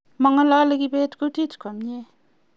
mangololi kibet kutit komie